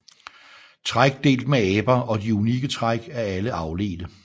Træk delt med aber og de unikke træk er alle afledte